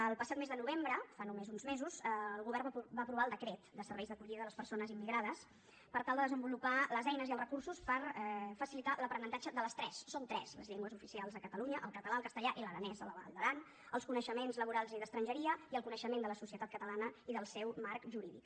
el passat mes de novembre fa només uns mesos el govern va aprovar el decret de serveis d’acollida de les persones immigrades per tal de desenvolupar les eines i els recursos per facilitar l’aprenentatge de les tres són tres les llengües oficials a catalunya el català el castellà i l’aranès a la vall d’aran els coneixements laborals i d’estrangeria i el coneixement de la societat catalana i del seu marc jurídic